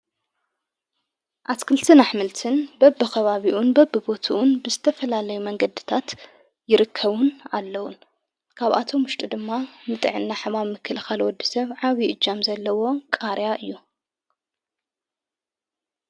ኣትክልትን ኣኅምልትን በብ ኸባቢኡን በብቦትውን ብስተፈላለይ መንገድታት ይርከውን ኣለዉን ካብኣቶም ሙሽጡ ድማ ምጥዕ ና ሕማም ምክልኻልወዲ ሰብ ዓዊ እጃም ዘለዎ ቃርያ እዩ።